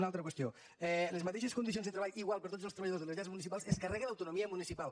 una altra qüestió les mateixes condicions de treball igual per a tots els treballadors de les llars municipals es carreguen l’autonomia municipal